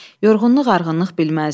Yorğunluq, arğınlıq bilməzdi.